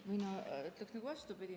Mina ütleksin vastupidi.